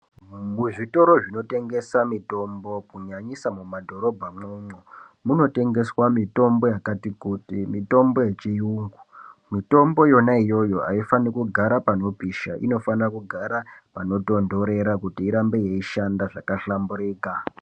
Muzvitora zvinotengesa mitombo kunyanyisa mumadhorobha umwomwo munotengeswa mitombo yakati kuti , mitombo yechiyungu. Mitombo iyoyo aifani kugara panoposha unofana kugara panotondorera kuti irambe yeishanda zvakahlamburika.